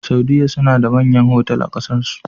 Saudiya suna da manyan otal a ƙasar su